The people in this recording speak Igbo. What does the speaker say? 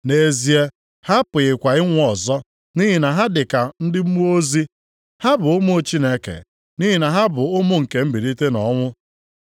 Nʼezie, ha apụghịkwa ịnwụ ọzọ, nʼihi na ha dị ka ndị mmụọ ozi. Ha bụ ụmụ Chineke, nʼihi na ha bụ ụmụ nke mbilite nʼọnwụ.